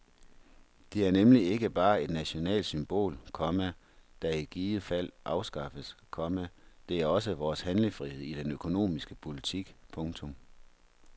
Det er nemlig ikke bare et nationalt symbol, komma der i givet fald afskaffes, komma det er også vores handlefrihed i den økonomiske politik. punktum